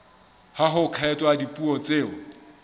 ha ho kgethwa dipuo tseo